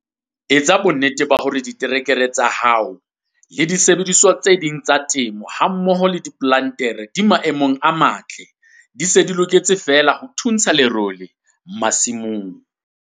Etsa bonnete hore diterekere tsa hao, le disebediswa tse ding tsa temo hammoho le diplantere di maemong a matle, di se di loketse feela ho thuntsha lerole masimong.